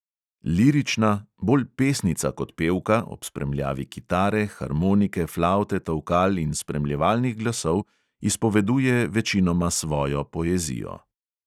Lirična, bolj pesnica kot pevka, ob spremljavi kitare, harmonike, flavte, tolkal in spremljevalnih glasov izpoveduje večinoma svojo poezijo.